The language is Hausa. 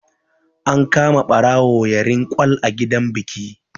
An kama ɓarawo yarin kwal a gidan biki